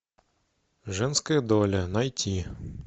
женская доля найти